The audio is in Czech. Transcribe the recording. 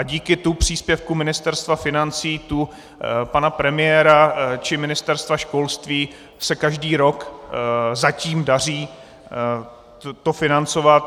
A díky tu příspěvku Ministerstva financí, tu pana premiéra či Ministerstva školství, se každý rok zatím daří to financovat.